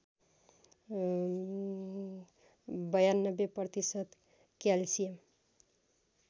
९२ प्रतिशत क्याल्सियम